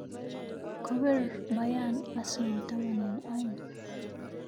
Kobir Beryern Arsenal taman eng aeng